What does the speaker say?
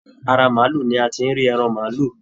Ará maálù ní a tí rí ẹran maálù.